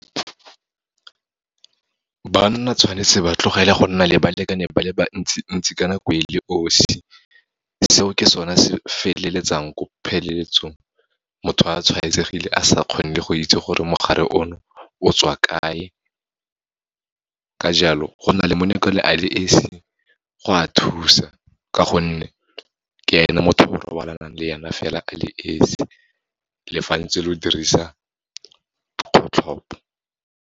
Banna tshwanetse ba tlogele go nna le balekane ba le bantsi ntsi ka nako e le 'osi. Seo ke sona se feleletsang ko pheleletsong, motho a tshwaetsegile a sa kgone go itse gore mogare ono, o tswa kae. Ka jalo, go na le molekane a le esi go a thusa, ka gonne ke ene motho o robalanang le ene fela a le esi, le fa ntse lo dirisa kgotlhopo.